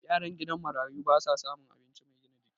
yaran gidan marayu ba sa samun abinci Mai gina jiki